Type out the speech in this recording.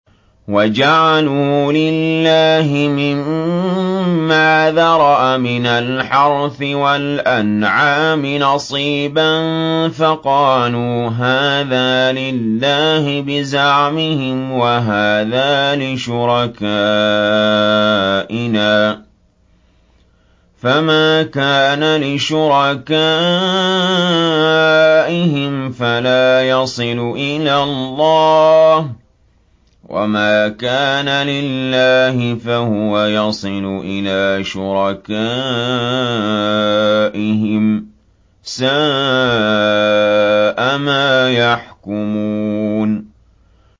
وَجَعَلُوا لِلَّهِ مِمَّا ذَرَأَ مِنَ الْحَرْثِ وَالْأَنْعَامِ نَصِيبًا فَقَالُوا هَٰذَا لِلَّهِ بِزَعْمِهِمْ وَهَٰذَا لِشُرَكَائِنَا ۖ فَمَا كَانَ لِشُرَكَائِهِمْ فَلَا يَصِلُ إِلَى اللَّهِ ۖ وَمَا كَانَ لِلَّهِ فَهُوَ يَصِلُ إِلَىٰ شُرَكَائِهِمْ ۗ سَاءَ مَا يَحْكُمُونَ